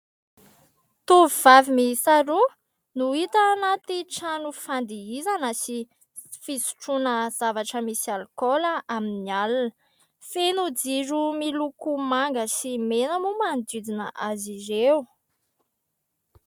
Tovovavy miisa roa no hita anaty trano fandihizana sy fisotroana zavatra misy alikaola amin'ny alina. Feno jiro miloko manga sy mena moa manodidina azy ireo.